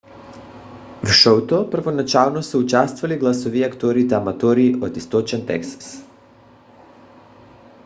в шоуто първоначално са участвали гласови актьори аматьори от източен тексас